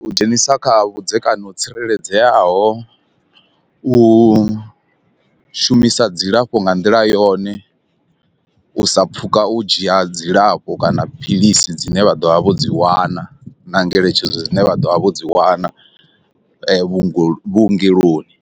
U dzhenisa kha vhudzekani ho tsireledzeaho, u shumisa dzilafho nga nḓila yone, u sa pfhuka u dzhia dzilafho kana philisi dzine vha ḓovha vho dzi wana na ngeletshedzo dzine vha ḓovha vho dzi wana vhuenge vhuongeloni.